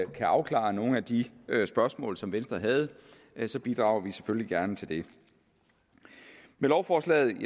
kan afklare nogle af de spørgsmål som venstre havde så bidrager vi selvfølgelig gerne til det med lovforslaget